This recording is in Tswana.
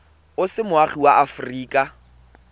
o se moagi wa aforika